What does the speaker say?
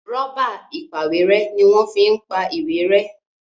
Rọ́bà ìpàwérẹ́ ní wón fí ń pá ìwé rẹ́